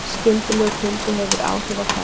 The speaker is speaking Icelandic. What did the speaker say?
Skyndilegur kuldi hefur áhrif á færð